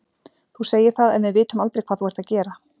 Þú segir það en við vitum aldrei hvað þú ert að gera.